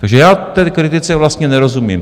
Takže já té kritice vlastně nerozumím.